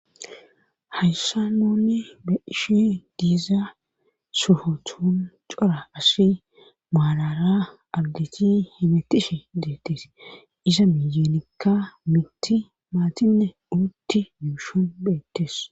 Hayssa noonni ba ishi diiza suhotun cora as maalara agdichi himetishe deettes isa miyeenekka mitti maatinne uutti yuushon bheettes.